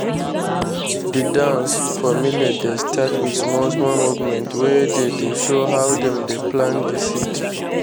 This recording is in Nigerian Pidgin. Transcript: the dance for millet dey start with small small movement wey dey show how dem dey plant the seed.